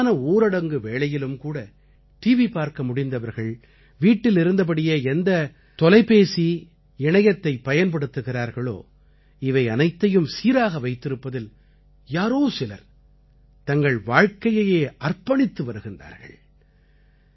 இந்த முழுமையான ஊரடங்கு வேளையிலும் கூட டிவி பார்க்க முடிந்தவர்கள் வீட்டில் இருந்தபடியே எந்தத் தொலைபேசி இணையத்தைப் பயன்படுத்துகிறார்களோ இவை அனைத்தையும் சீராக வைத்திருப்பதில் யாரோ சிலர் தங்கள் வாழ்க்கையையே அர்ப்பணித்து வருகிறார்கள்